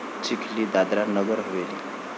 Chikhli, Dadra Nagar Haveli